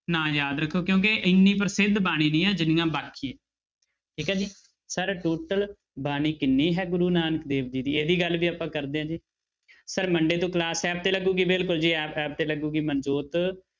ਨਾਂ ਯਾਦ ਰੱਖੋ ਕਿਉਂਕਿ ਇੰਨੀ ਪ੍ਰਸਿੱਧ ਬਾਣੀ ਨਹੀਂ ਆਂ ਜਿੰਨੀਆਂ ਬਾਕੀ ਹੈ ਠੀਕ ਹੈ ਜੀ sir total ਬਾਣੀ ਕਿੰਨੀ ਹੈ ਗੁਰੂ ਨਾਨਕ ਦੇਵ ਜੀ ਦੀ ਇਹਦੀ ਗੱਲ ਵੀ ਆਪਾਂ ਕਰਦੇ ਹਾਂ ਜੀ sir monday ਤੋਂ class app ਤੇ ਲੱਗੇਗੀ ਬਿਲਕੁਲ ਜੀ ਐ~ app ਤੇ ਲੱਗੇਗੀ ਮਨਜੋਤ